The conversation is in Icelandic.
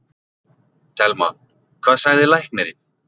Telma: Hvað sagði læknirinn?